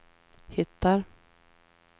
hittar